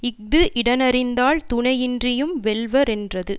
இஃது இடனறிந்தால் துணையின்றியும் வெல்வரென்றது